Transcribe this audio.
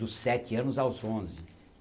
Dos sete anos aos onze.